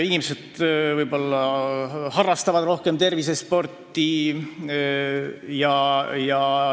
Inimesed harrastavad ka rohkem tervisesporti.